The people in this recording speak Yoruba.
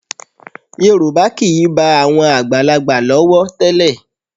Yorùbá kì í bá àwọn àgbàlagbà lọ́wọ́ tẹ́lẹ̀